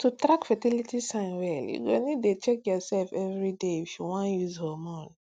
to track fertility signs well you go need dey check yourself everyday if you no wan use hormone